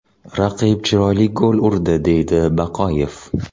Raqib chiroyli gol urdi”, deydi Baqoyev.